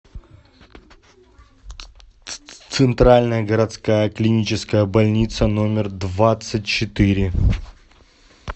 центральная городская клиническая больница номер двадцать четыре